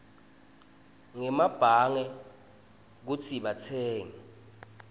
ngemabhange kutsi batsenge